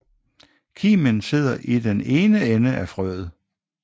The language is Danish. Kimen sidder i den ene ende af frøet